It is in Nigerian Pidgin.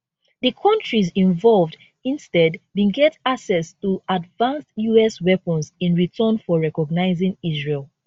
di kontris involved instead bin get access to advanced us weapons in return for recognising israel